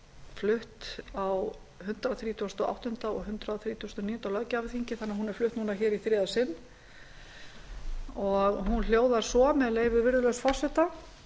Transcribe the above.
flutt á hundrað þrítugasta og áttunda og hundrað þrítugasta og níunda löggjafarþingi þannig að hún er flutt núna í þriðja sinn hún hljóðar svo með leyfi virðulegs forseta